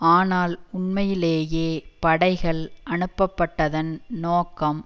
ஆனால் உண்மையிலேயே படைகள் அனுப்பப்பட்டதன் நோக்கம்